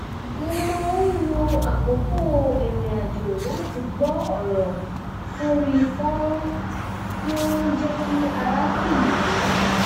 mo máa ń lo àkókò ìrìnrìn àjò láti gbọ́ ọ̀rọ̀ sórí fọ́nrán tí ó ń jẹ́ kí ara tù mí